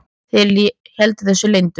Þeir héldu þessu leyndu.